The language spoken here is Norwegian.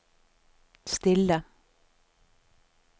stille